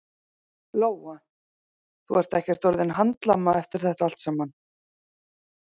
Lóa: Þú ert ekkert orðinn handlama eftir þetta allt saman?